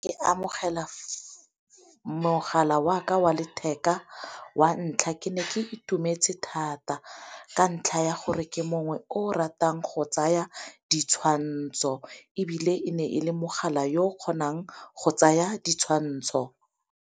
Ke amogela mogala wa ka wa letheka wa ntlha ke ne ke itumetse thata ka ntlha ya gore ke mongwe o ratang go tsaya ditshwantsho, ebile e ne e le mogala yo o kgonang go tsaya ditshwantsho.